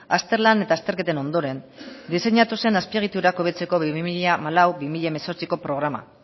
azterlan eta azterketen ondoren diseinatu zen azpiegiturak hobetzeko bi mila hamalau bi mila hemezortziko programa